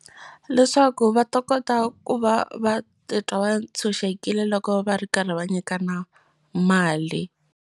Leswaku va ta kota ku va va titwa va tshunxekile loko va ri karhi va nyikana mali.